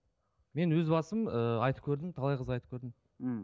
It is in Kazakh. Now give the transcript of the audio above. мен өз басым ыыы айтып көрдім талай қызға айтып көрдім мхм